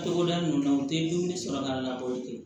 Togoda ninnu na u tɛ dumuni sɔrɔ ka na olu tɛ